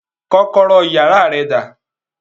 Kọ́kọ́rọ́ iyàrá rẹ dà